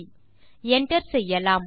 enter செய்யலாம்